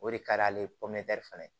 O de ka d'ale fana ye